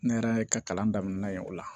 Ne yɛrɛ ka kalan daminɛna yen o la